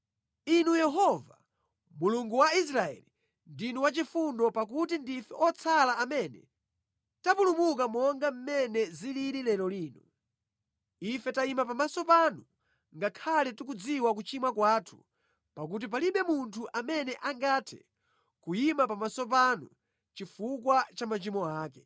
Inu Yehova, Mulungu wa Israeli, ndinu wachifundo, pakuti ndife otsala amene tapulumuka monga mmene zilili lero lino. Ife tayima pamaso panu ngakhale tikudziwa kuchimwa kwathu pakuti palibe munthu amene angathe kuyima pamaso panu chifukwa cha machimo ake.”